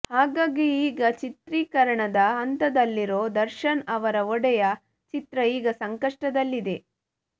ಹಾಗಾಗಿ ಈಗ ಚಿತ್ರೀಕರಣದ ಹಂತದಲ್ಲಿರೋ ದರ್ಶನ್ ಅವರ ಒಡೆಯ ಚಿತ್ರ ಈಗ ಸಂಕಷ್ಟದಲ್ಲಿದೆ